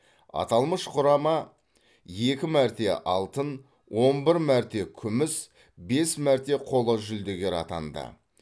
аталмыш құрама екі мәрте алтын он бір мәрте күміс бес мәрте қола жүлдегер атанды